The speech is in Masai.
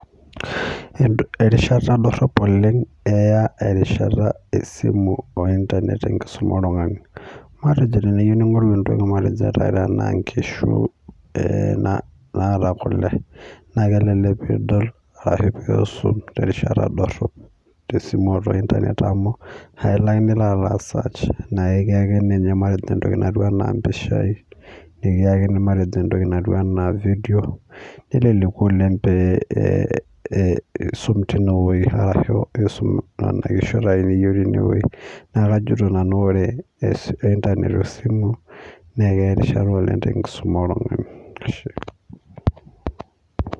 Erishata dorrop oleng' eya erishata esimu ointanet tenkisuma oltung'ani matejo teniyeu ning'oru entoki matejo ata tenaa inkishu oo eee naata kule naa kelelek piidol arashu piisum terishata dorrop tesimu tiataua esimu amu ailo ake nilo aisaach naikiyakini ninye matejo entoki naijo impishai nikiyakini entoki naijo cs cs nelelek oleng' pee ee iisum teine weji arashu ee iisum nena kishu tine weji naakajito nanu ore ee intanet wesimu neekeya erishata oleng' tenkisuma oltung'ani, ashe.